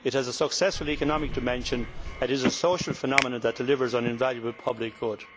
It has a successful economic dimension and it is a social phenomenon that delivers an invaluable public good.